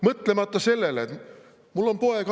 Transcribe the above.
Mõtlemata sellele!